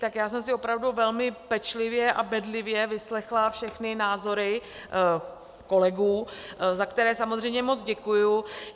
Tak já jsem si opravdu velmi pečlivě a bedlivě vyslechla všechny názory kolegů, za které samozřejmě moc děkuji.